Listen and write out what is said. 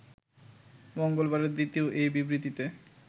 মঙ্গলবারের দ্বিতীয় এই বিবৃতিতে